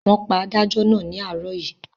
Wọ́n pa adájọ́ náà ní àárọ̀ yìí.